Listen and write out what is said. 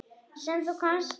Sem þú komst með.